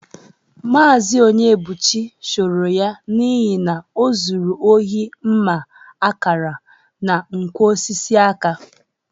Maazị Onyebụchi chụrụ ya n'ihi na o zuru ozi mma akara, na nkwọ osisi aka.